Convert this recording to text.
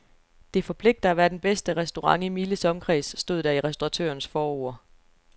Det forpligter at være den bedste restaurant i miles omkreds, stod der i restauratørens forord.